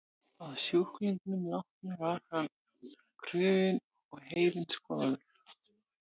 Að sjúklingnum látnum var hann krufinn og heilinn skoðaður.